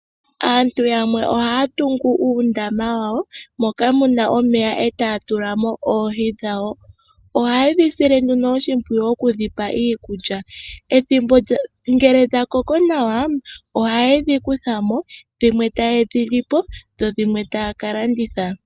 Aantu yamwe ohaya tungu uundama wawo moka muna omeya etaya tulamo oohi dhawo ohayedhi sile nduno oshimpwiyu okudhi pa iikulya. Ngele dha koko nawa ohayedhi kutha mo dhimwe tayedhi lipo dho dhimwe taya ka landitha.